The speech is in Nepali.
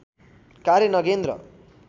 कार्य नगेन्द्र